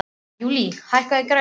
Júlí, hækkaðu í græjunum.